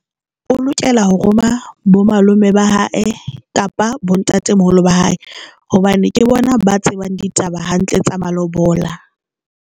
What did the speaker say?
O lokela ho roma bo malome ba hae kapa bontatemoholo ba hae hobane ke bona ba tsebang ditaba hantle tsa malobola.